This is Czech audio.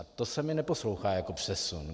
A to se mi neposlouchá jako přesun.